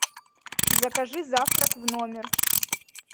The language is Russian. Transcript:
закажи завтрак в номер